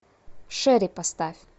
шери поставь